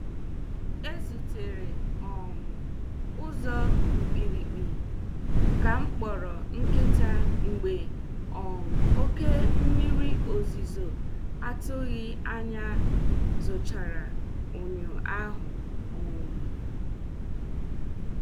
E zutere um ụzọ mkpirikpi ka m kpọrọ nkịta mgbe um oke mmiri ozuzo atụghi anya zuchara ụnyaahụ um